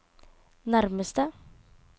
nærmeste